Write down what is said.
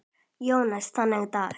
Jóns þennan dag.